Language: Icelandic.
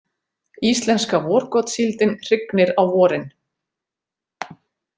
Íslenska vorgotssíldin hrygnir á vorin.